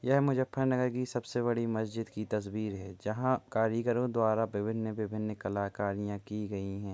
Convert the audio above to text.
यह मुजफ्फर नगर की सबसे बड़ी मस्जिद की तस्वीर है जहाँ कारीगरों द्वारा विभिन्न विभिन्न कलाकारियां की गई है।